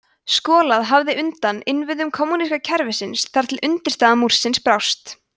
skolað hafði undan innviðum kommúníska kerfisins þar til undirstaða múrsins brást